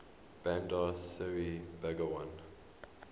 bandar seri begawan